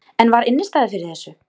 En var innistæða fyrir þessu?